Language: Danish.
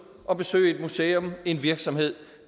at besøge et museum en virksomhed